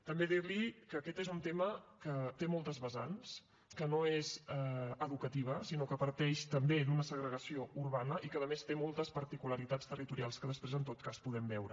també dir li que aquest és un tema que té moltes vessants que no és només l’educativa sinó que parteix també d’una segregació urbana i que a més té moltes particularitats territorials que després en tot cas podem veure